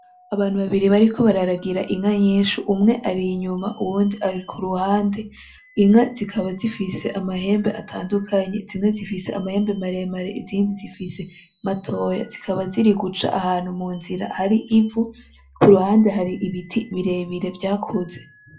Abantu babiri bariko bararagira inka nyinshi, umwe ar'inyuma uyundi ari ku ruhande, inka zikaba zifise amahembe atandukanye, zimwe zifise amahembe maremare; izindi zifise matoya, zikaba ziri guca ahantu mu nzira hari ivu, ku ruhande hari ibiti birebire vyakuze.